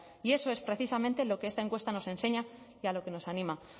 y eso es precisamente lo que esta encuesta nos enseña y a lo que nos anima